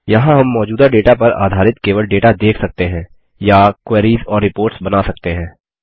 यहाँ हम मौजूदा डेटा पर आधारित केवल डेटा देख सकते हैं या क्वेरीस और रिपोर्ट्स बना सकते हैं